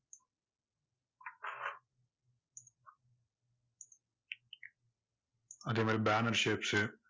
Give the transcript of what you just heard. அதே மாதிரி banner shapes சு